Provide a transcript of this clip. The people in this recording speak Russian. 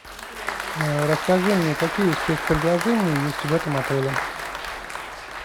расскажи мне какие спец предложения есть в этом отеле